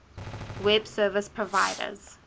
web service providers